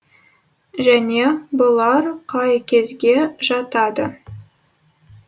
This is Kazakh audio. және бұлар қай кезге жатады